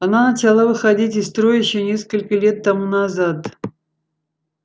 она начала выходить из строя ещё несколько лет тому назад